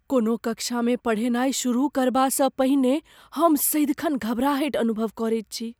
कोनो कक्षामे पढ़ेनाइ शुरू करबासँ पहिने हम सदिखन घबराहटि अनुभव करैत छी।